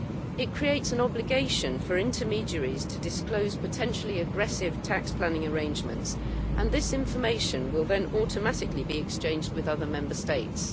It creates an obligation for intermediaries to disclose potentially aggressive tax planning arrangements, and this information will then automatically be exchanged with other Member States.